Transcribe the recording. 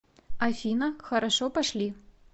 афина хорошо пошли